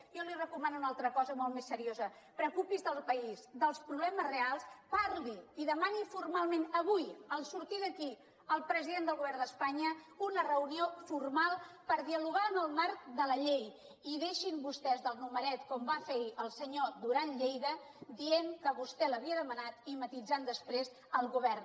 jo li recomano una altra cosa molt més seriosa preocupi’s del país dels problemes reals parli i demani formalment avui en sortir d’aquí al president del govern d’espanya una reunió formal per dialogar en el marc de la llei i deixin se vostès del numeret com va fer ahir el senyor duran lleida dient que vostè l’havia demanat i matisant després el govern